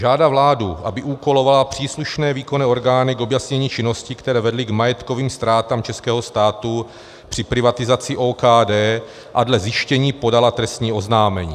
Žádá vládu, aby úkolovala příslušné výkonné orgány k objasnění činností, které vedly k majetkovým ztrátám českého státu při privatizaci OKD, a dle zjištění podala trestní oznámení.